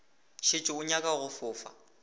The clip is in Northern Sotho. šetše o nyaka go fofa